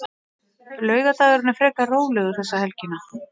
Laugardagurinn er frekar rólegur þessa helgina.